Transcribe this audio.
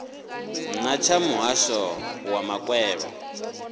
na tsha muhasho wa makwevho